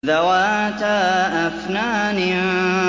ذَوَاتَا أَفْنَانٍ